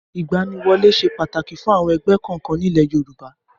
Ìgbaniwọlé ṣe pàtàkì fún àwọn ẹgbẹ́ kọ̀ọ̀kan ní ilé Yorùbá.